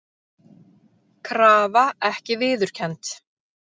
Krafa ekki viðurkennd